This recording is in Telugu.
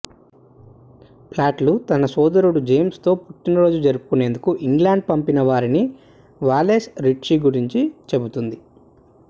ప్లాట్లు తన సోదరుడు జేమ్స్ తో పుట్టినరోజు జరుపుకునేందుకు ఇంగ్లండ్ పంపిన వారిని వాలెస్ రిట్చీ గురించి చెబుతుంది